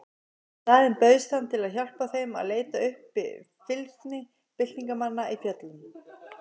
Í staðinn bauðst hann til að hjálpa þeim að leita uppi fylgsni byltingarmanna í fjöllunum.